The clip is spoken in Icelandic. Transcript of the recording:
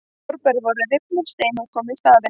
Torfbæir voru rifnir og steinhús komu í staðinn.